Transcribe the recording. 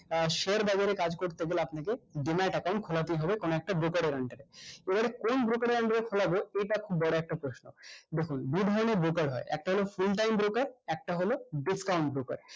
আহ share বাজারে কাজ করতে গেলে আপনাকে denied account খোলাতেই হবে কোনো একটা broker এর under এ এর কোন broker এর under এ খোলাবো ইটা খুব বড় একটা প্রশ্ন দেখুন দু ধরণের broker হয় একটা হলো full time broker একটা হলো discount broker